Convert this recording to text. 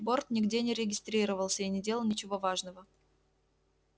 борт нигде не регистрировался и не делал ничего важного